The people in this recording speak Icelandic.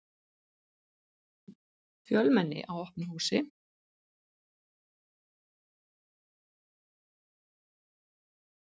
Fjölmenni á opnu húsi